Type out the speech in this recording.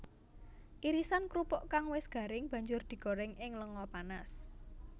Irisan krupuk kang wis garing banjur digoréng ing lenga panas